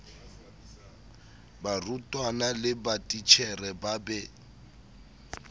barutwana le matitjhere ba be